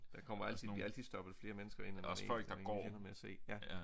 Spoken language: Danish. Der kommer altid der bliver altid stoppet flere mennesker ind end man egentligt sådan ender med at se ja